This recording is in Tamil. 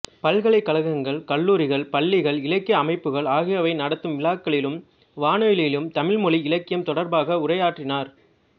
பல்கலைக் கழகங்கள் கல்லூரிகள் பள்ளிகள் இலக்கிய அமைப்புகள் ஆகியவை நடத்தும் விழாக்களிலும் வானொலியிலும் தமிழ்மொழி இலக்கியம் தொடர்பாக உரையாற்றினார்